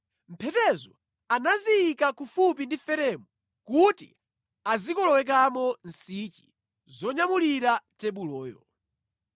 Mphetezo anaziyika kufupi ndi feremu kuti azikolowekamo nsichi zonyamulira tebuloyo.